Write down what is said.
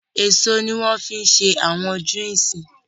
Èso ní wọ́n fí n ṣé àwọn juices